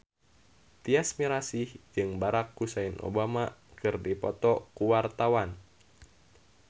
Tyas Mirasih jeung Barack Hussein Obama keur dipoto ku wartawan